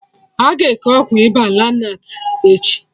Aga eke Ọgwụ ịba lonart echi